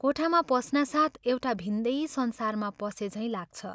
कोठामा पस्नासाथ एउटा भिन्दै संसारमा पसे झैं लाग्छ।